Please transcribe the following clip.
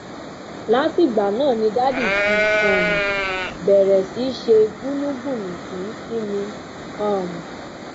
látìgbà náà ni daddy ti um béèrè sí í ṣe gbùnúngbùnùngbún sí mi um